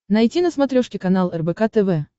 найти на смотрешке канал рбк тв